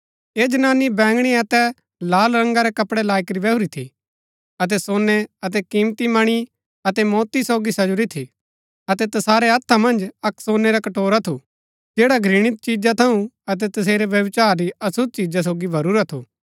ऐह जनानी बैंगणी अतै लाल रंगा रै कपड़ै लाई करी बैहुरी थी अतै सोनै अतै कीमती मणी अतै मोति सोगी सजुरी थी अतै तैसारै हत्था मन्ज अक्क सोनै रा कटोरा थू जैडा घृणित चिजा थऊँ अतै तेसेरै व्यभिचार री अशुद्ध चिजा सोगी भरूरा थू